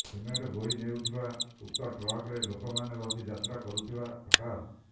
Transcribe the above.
cement ବୋହି ନେଉଥିବା ଉକ୍ତ ଟ୍ରକ୍ରେ ଲୋକମାନେ ବସି ଯାତ୍ରା କରୁଥିବା ପ୍ରକାଶ